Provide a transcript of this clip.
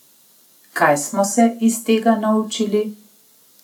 Kaj smo se iz tega naučili?